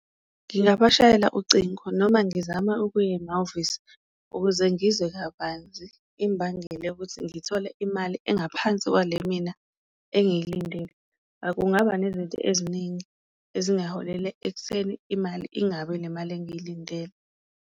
Ngingabashayela ucingo noma ngizame ukuya emahhovisi ukuze ngizwe kabanzi imbangela yokuthi ngithole imali engaphansi kwale mina engiyilindele, kungaba nezinto eziningi ezingaholela ekutheni imali ingabi ile mali engiyilindele.